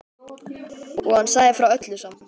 Og hann sagði frá öllu saman.